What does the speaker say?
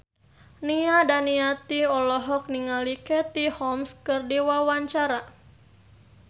Nia Daniati olohok ningali Katie Holmes keur diwawancara